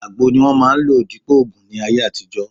Àgbo ni wọ́n máà ń lò dípòo ògùn ní ayé àtijọ́